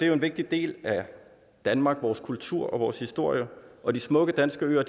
jo en vigtig del af danmark vores kultur og vores historie og de smukke danske øer